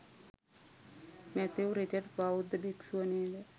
Matthew Richard බෞද්ධ භික්‍ෂුව නේද?